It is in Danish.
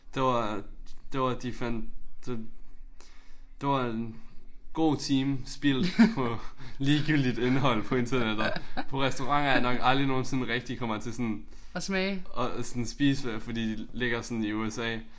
Det var det var de fandt det det var en god time spildt på ligegyldigt indhold på internettet. På restauranter jeg nok aldrig nogensinde rigtig kommer til at sådan og sådan spise ved fordi de ligger sådan i USA